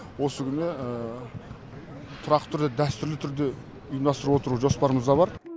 осы күні тұрақты түрде дәстүрлі түрде ұйымдастырып отыру жоспарымызда бар